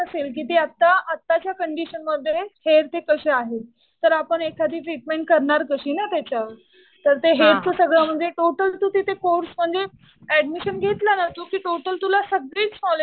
नसेल कि ते आता, आताच्या कंडीशनमध्ये हेअर्स हे कसे आहेत. तर आपण एखादी ट्रीटमेंट करणार कशी ना त्याच्यावर. तर ते हेअरचं सगळं म्हणजे टोटल कोर्स म्हणजे ऍडमिशन घेतलं ना तू कि टोटल तुला सगळीच